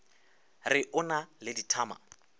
re o na le dithama